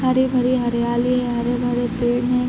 हरे भरे हरियाली है हरे भरे पेड़ है।